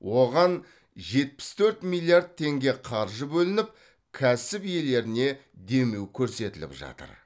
оған жетпіс төрт миллиард теңге қаржы бөлініп кәсіп иелеріне демеу көрсетіліп жатыр